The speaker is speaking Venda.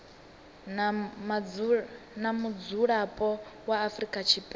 na mudzulapo wa afrika tshipembe